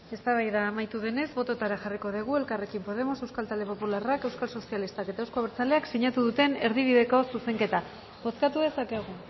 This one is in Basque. eztabaida amaitu denez botoetara jarriko dugu elkarrekin podemos euskal talde popularrak euskal sozialistak eta euzko abertzaleak sinatu duten erdibideko zuzenketa bozkatu dezakegu